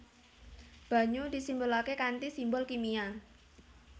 Banyu disimbolaké kanthi simbol kimia